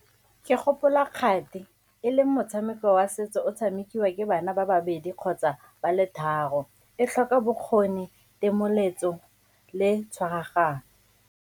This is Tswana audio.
Ke gopola kgati, e leng motshameko wa setso o tshamekiwa ke bana ba babedi kgotsa ba le tharo, e tlhoka bokgoni, le tshwaragano.